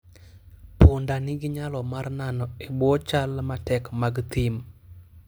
Punda nigi nyalo mar nano e bwo chal matek mag thim.